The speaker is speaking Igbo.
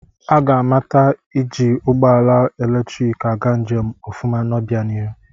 Aga amata iji ụgbọala eletiriki aga njem ọfụma n'obịanihu.